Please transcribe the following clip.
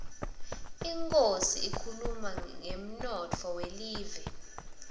inkhosi ikhuluma ngemnotfo welive